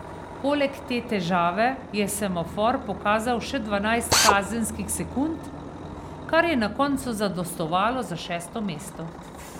Poleg te težave je semafor pokazal še dvanajst kazenskih sekund, kar je na koncu zadostovalo za šesto mesto.